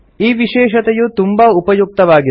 ಈ ವಿಶೇಷತೆಯು ತುಂಬಾ ಉಪಯುಕ್ತವಾಗಿದೆ